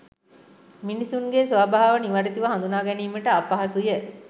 මිනිසුන්ගේ ස්වභාව නිවැරැදිව හඳුනාගැනීමට අපහසුය.